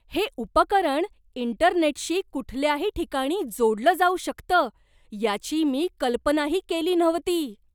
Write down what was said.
हे उपकरण इंटरनेटशी कुठल्याही ठिकाणी जोडलं जाऊ शकतं याची मी कल्पनाही केली नव्हती.